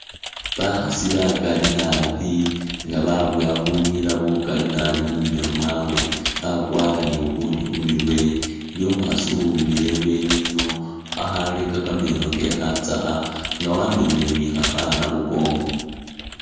Bakhaasi bakali nabi nga babowa bunyila bukali nabi mumilo mwabwe, bakwara ni bubundi khumurwe, iliwo umukhasi uwumile ibweni ino akhareka kameno keye khatsakha nga wamemele ni khakhana khukongo